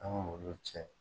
An m'olu cɛ